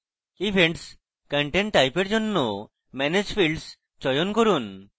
events content type এর জন্য manage fields চয়ন করুন